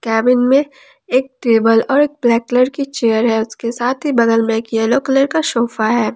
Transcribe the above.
Cabin में एक table और एक ब्लैक कलर की चेयर है उसके साथ ही बगल में येलो कलर का सोफा है।